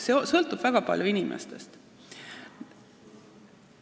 See sõltub väga palju inimestest.